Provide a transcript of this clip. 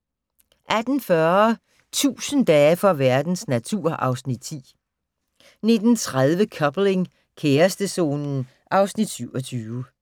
* 18:40: 1000 dage for verdens natur (Afs. 10) 19:30: Coupling - kærestezonen (Afs. 27)